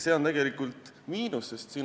See on tegelikult miinus.